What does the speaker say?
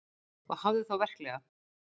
Og hafðu þá verklega.